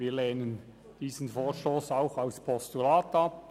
Wir lehnen diesen Vorstoss auch als Postulat ab.